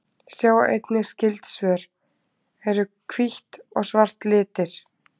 Sjá einnig skyld svör: Eru hvítt og svart litir?